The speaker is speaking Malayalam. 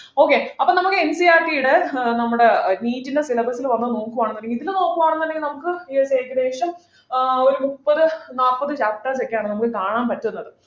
okay അപ്പൊ നമ്മൾ ncert യുടെ ഏർ നമ്മുടെ NEET ൻ്റെ Syllabus ൽ ഒന്ന് നോക്കുയാണെന്നുണ്ടെങ്കിൽ ഇതില് നോക്കുയാണെന്നുണ്ടെങ്കിൽ നമുക്ക് ഏകദേശം ഏർ ഒരു മുപ്പത് നാൽപ്പത് chapters ഒക്കെയാണ് നമുക്ക് കണാൻ പറ്റുന്നത്